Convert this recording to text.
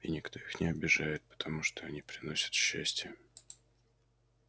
и никто их не обижает потому что они приносят счастье